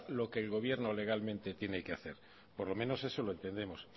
lo que el gobierno legalmente tiene que hacer por lo menos eso lo entendemos